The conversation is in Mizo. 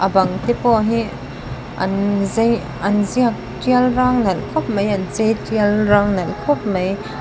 a bang te pawh hi an zai an ziak ṭial rang nalh khawp mai an chei ṭial rang nalh khawp mai.